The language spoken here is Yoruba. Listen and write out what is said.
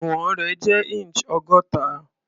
Ìwọ̀n rẹ̀ jẹ́ inch ọgọ́ta.